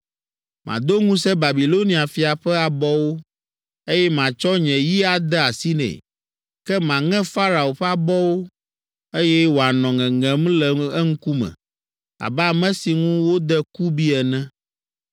Mado ŋusẽ Babilonia fia ƒe abɔwo, eye matsɔ nye yi ade asi nɛ, ke maŋe Farao ƒe abɔwo, eye wòanɔ ŋeŋem le eŋkume abe ame si ŋu wode kubi ene.